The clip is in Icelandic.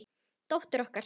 Dóttir okkar?